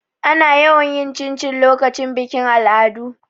Ana yawan yin cincin lokacin bikin al'adu.